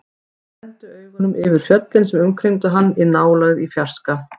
Hann renndi augunum yfir fjöllin sem umkringdu hann, í nálægð, í fjarska.